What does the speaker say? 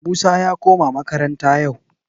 Musa ya koma makaranta yau